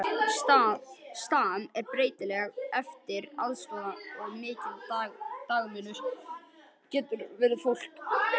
Stam er breytilegt eftir aðstæðum og mikill dagamunur getur verið á fólki.